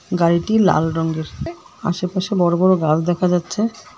গাড়িটি লাল রঙ্গের আশেপাশে বড়ো বড়ো গাস দেখা যাচ্ছে।